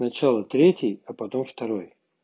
сначала третий а потом второй